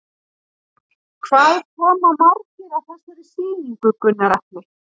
Hvað koma margir að þessari sýningu, Gunnar Atli?